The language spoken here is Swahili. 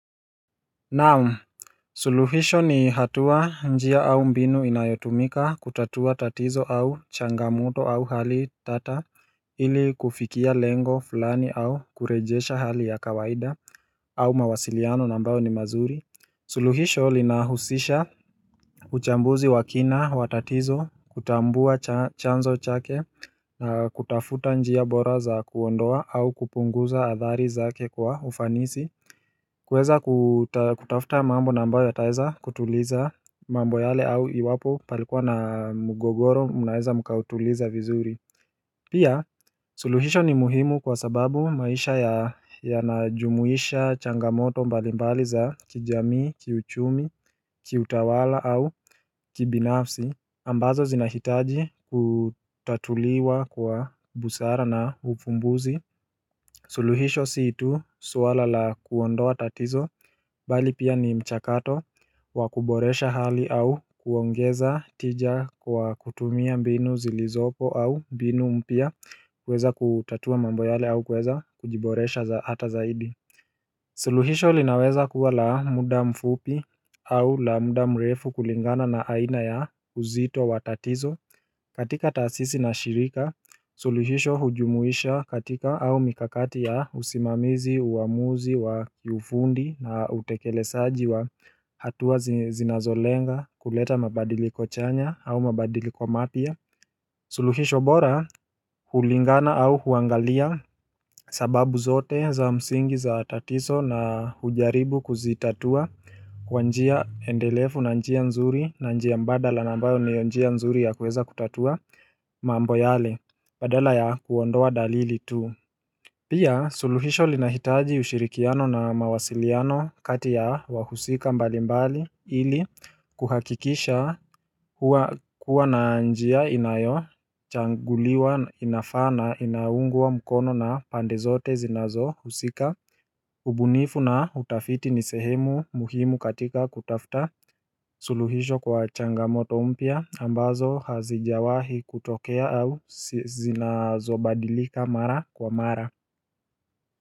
Naam suluhisho ni hatua njia au mbinu inayotumika kutatua tatizo au changamoto au hali tata Ili kufikia lengo fulani au kurejesha hali ya kawaida au mawasiliano ambao ni mazuri suluhisho linahusisha uchambuzi wa kina wa tatizo kutambua chanzo chake na kutafuta njia bora za kuondoa au kupunguza athari zake kwa ufanisi kuweza kutafuta mambo na ambayo yataweza kutuliza mambo yale au iwapo palikuwa na mgogoro mnaweza mkautuliza vizuri Pia suluhisho ni muhimu kwa sababu maisha yanajumuisha changamoto mbalimbali za kijamii, kiuchumi, kiutawala au kibinafsi ambazo zinahitaji kutatuliwa kwa busara na upumbuzi suluhisho sii tu swala la kuondoa tatizo bali pia ni mchakato wa kuboresha hali au kuongeza tija kwa kutumia mbinu zilizopo au mbinu mpya kuweza kutatua mambo yale au kuweza kujiboresha hata zaidi suluhisho linaweza kuwa la muda mfupi au la muda mrefu kulingana na aina ya uzito wa tatizo katika taasisi na shirika, suluhisho hujumuisha katika au mikakati ya usimamizi, uamuzi, wa kiufundi na utekelezaji wa hatua zinazolenga kuleta mabadiliko chanya au mabadiliko mapya suluhisho bora hulingana au huangalia sababu zote za msingi za tatizo na hujaribu kuzitatua kwa njia endelefu na njia nzuri na njia mbadala ambayo ni njia nzuri ya kuweza kutatua mambo yale Badala ya kuondoa dalili tu Pia suluhisho linahitaji ushirikiano na mawasiliano kati ya wahusika mbali mbali Ili kuhakikisha kuwa na njia inayochaguliwa inafaa inaungwa mkono na pande zote zinazohusika ubunifu na utafiti ni sehemu muhimu katika kutafuta suluhisho kwa changamoto mpya ambazo hazijawahi kutokea au zinazobadilika mara kwa mara.